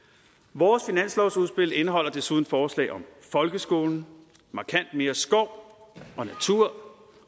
vores finanslovsudspil indeholder desuden forslag om folkeskolen markant mere skov og natur